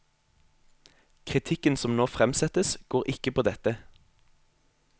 Kritikken som nå fremsettes, går ikke på dette.